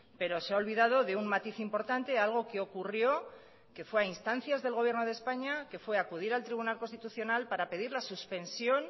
pero se ha olvidado de un matiz importante algo que ocurrió que fue a instancias del gobierno de españa que fue acudir al tribunal constitucional para pedir la suspensión